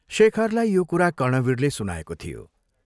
शेखरलाई यो कुरा कर्णवीरले सुनाएको थियो।